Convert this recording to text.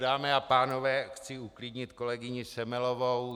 Dámy a pánové, chci uklidnit kolegyni Semelovou.